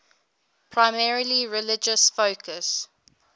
primarily religious focus